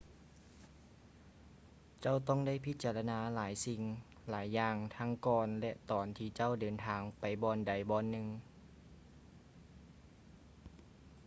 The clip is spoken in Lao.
ເຈົ້າຕ້ອງໄດ້ພິຈາລະນາຫຼາຍສິ່ງຫຼາຍຢ່າງທັງກ່ອນ ແລະ ຕອນທີ່ເຈົ້າເດີນທາງໄປບ່ອນໃດບ່ອນໜຶ່ງ